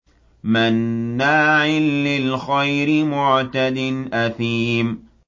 مَّنَّاعٍ لِّلْخَيْرِ مُعْتَدٍ أَثِيمٍ